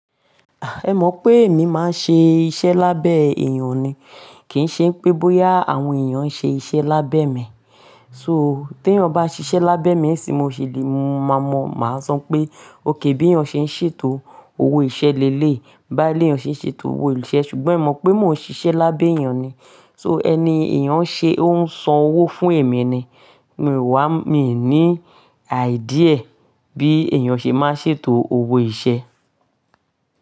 Ẹ mọ̀ pé èmi máa ń ṣe iṣẹ́ lábẹ́ èèyàn ni, kì í ṣe pé bóyá àwọn èèyàn ń ṣe iṣẹ́ lábẹ́ mi. So, tí ẹ̀yin ò bá ṣiṣẹ́ lábẹ́ mi sìn mo ṣi le, mo máa mọ̀, mà á sọ pé òkè bí ẹ̀yan ṣe ń ṣètò owó iṣẹ́ le léyi, báyi léyan ṣe ń ṣètò owó iṣẹ́. Ṣùgbọ́n e mọ̀ pé mo n ṣiṣẹ́ lábẹ́ èèyàn ni. So, ẹni èèyàn ṣe ó ń san owó fún èmi ni, mì wá, mi ò ní idea bí èèyàn ṣe máa ń ṣètò owó iṣẹ́